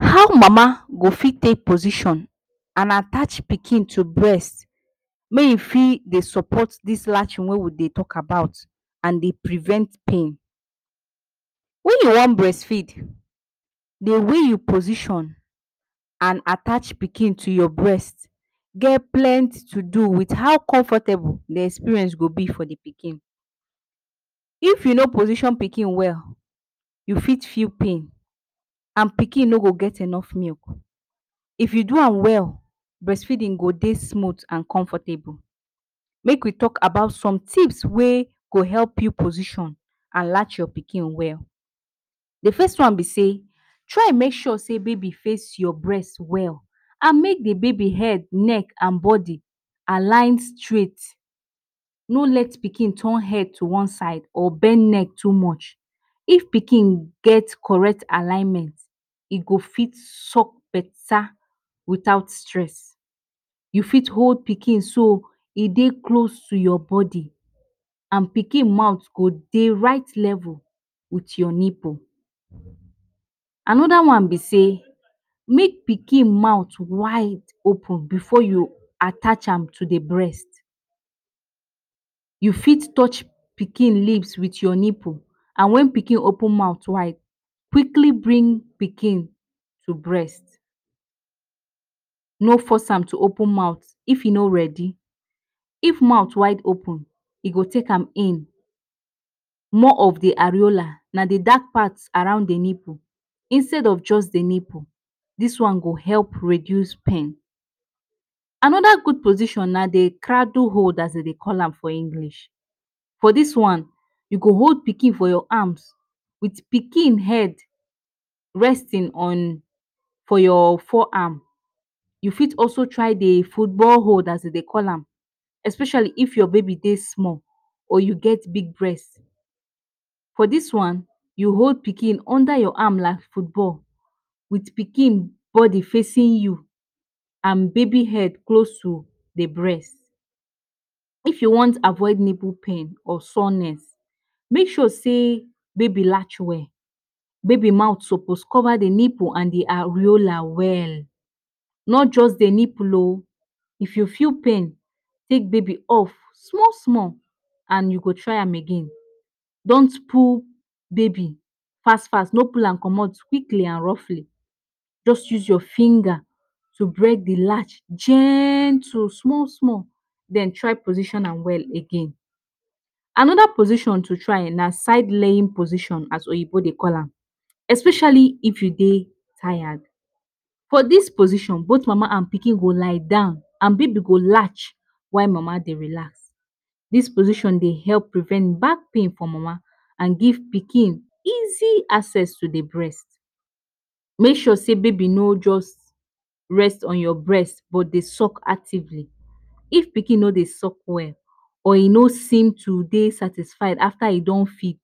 How mama go fit take position and attach pikin to breast may hin fit dey support this latching wey we dey talk about and dey prevent pain? When you wan breastfeed, de way you position and attach pikin to your breast get plenty to do to how comfortable de experience go be for de pikin. If you no position pikin well, you fit feel pain and pikin no go get enough milk. If you do ham well breastfeeding go dey smooth and comfortable. Make we talk about some tips wey go help you position and latch your pikin well, de first one be say try mak sure say baby face your breast well and make the baby head, neck and body align straight no let pikin turn head to one side or bend neck too much, if pikin get correct alignment, e go fit suck better without stress. You fit hold pikin so e dey close to your body and pikin mouth go dey right level with your nipple. Another one be say, make pikin mouth wide open before you attach am to de breast, you fit touch pikin lips to your nipple and when pikin open mouth wide quickly bring pikin to breast. No force ham to open mouth if he no ready. If mouth wide open e go take am in more of the areola na de dark part around de nipple instead of just de nipple this one go help reduce pain. Another good position na de cradle hole as dem dey call am for English, for this one you go hold pikin for your arms with pikin head resting on your for your fore arm you fit also try de football hole dem dey call am especially if your baby dey small or you get big breast, for this one you hold pikin under your arm like football with pikin body facing you and baby head close to de breast, if you wan avoid nipple pain or soreness make sure say baby latch well baby mouth suppose cover the nipple and de areola well not just de nipple ooo if you feel pain take baby off small small and you go try am again don’t pull baby fast fast no pull am comot quickly or roughly, just use your finger to break the latch gentle small small then try position am well again. Another position to try na side laying position as oyinbo dey call am, especially if you dey tired. For this position both mama and pikin go lie down and baby go latch when mama dey relax. This position dey help prevent backpain for mama and give pikin easy access to de breast. Make sure say baby no just rest on your breast but dey suck actively, if pikin no dey suck well or e no seem to de satisfied after e don feed